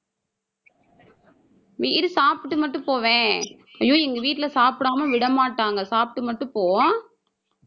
இரு சாப்பிட்டு மட்டும் போவேன். ஐயோ, எங்க வீட்டுல சாப்பிடாம விடமாட்டாங்க. சாப்பிட்டு மட்டும் போ அஹ்